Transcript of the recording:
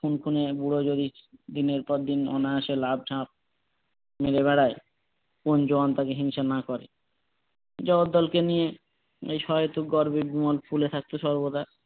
দিনের পর দিন অনায়াসে লাফঝাঁপ করে বেড়ায় কোন জোয়ান তাকে হিংসে না করে জগদ্দলকে নিয়ে যে সহেতুক গর্বে বিমল ফুলে থাকতো সর্বদা